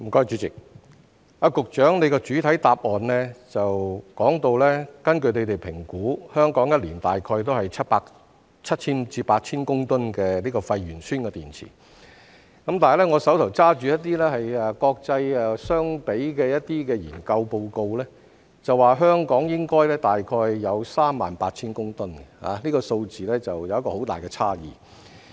主席，局長的主體答覆表示，根據他們的評估，香港每年產生大概7000至8000公噸廢鉛酸電池，但我手上拿着與國際相比的研究報告，指香港應該大概有38000公噸，這數字有很大的差異。